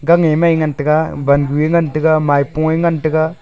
kam a mai ngan tega wan gu ngan tega maipunge ngan.